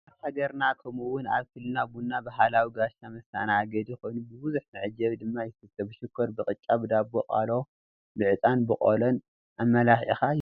ኣብ ሃገርና ከምኡ ውን ኣብ ክልልና ቡና ባህላዊ ጋሻ መስተኣናገዲ ኾይኑ ብቡዙሕ መዐጀቢ ድማ ይስተይ፡፡ ብሽኮር፣ ብቅጫ፣ ብዳቦ ቆሎ፣ ብዕጣንን ብቆሎን ኣመላኺዕኻ ይስተይ፡፡